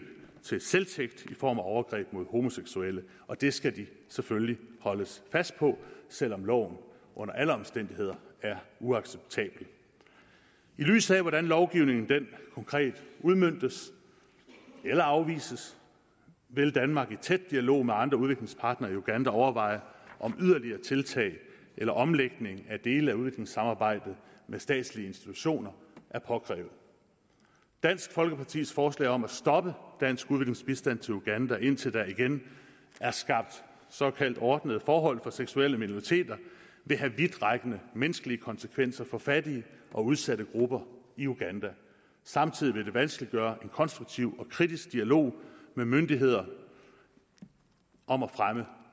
til selvtægt i form af overgreb mod homoseksuelle det skal de selvfølgelig holdes fast på selv om loven under alle omstændigheder er uacceptabel i lyset af hvordan lovgivningen konkret udmøntes eller afvises vil danmark i tæt dialog med andre udviklingspartnere i uganda overveje om yderligere tiltag eller omlægning af dele af udviklingssamarbejdet med statslige institutioner er påkrævet dansk folkepartis forslag om at stoppe dansk udviklingsbistand til uganda indtil der igen er skabt såkaldt ordnede forhold for seksuelle minoriteter vil have vidtrækkende menneskelige konsekvenser for fattige og udsatte grupper i uganda samtidig vil det vanskeliggøre en konstruktiv og kritisk dialog med myndigheder om at fremme